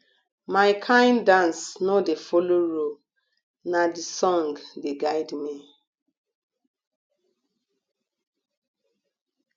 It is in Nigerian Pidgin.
my kain dance no dey folo rule na di song dey guide me